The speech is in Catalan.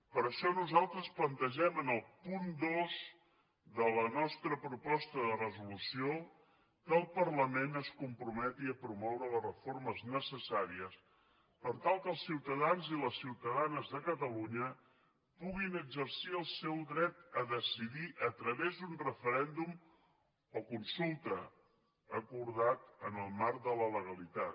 per això nosaltres plantegem en el punt dos de la nostra proposta de resolució que el parlament es comprometi a promoure les reformes necessàries per tal que els ciutadans i les ciutadanes de catalunya puguin exercir el seu dret a decidir a través d’un referèndum o consulta acordat en el marc de la legalitat